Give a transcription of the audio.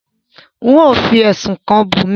nwọn o fí ẹsùn kán Bunmi.